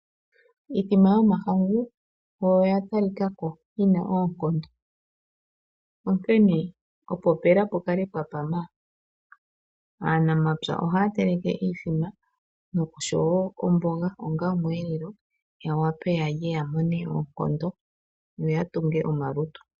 Iimbombo yomahangu oyo ya tali kako yina oonkondo onkene opo pela pukale pwa pama aanamapya ohaya teleke iimbombo noshowo omboga onga omwelelo ya wape yalye yamone oonkondo noya tunge omalutu.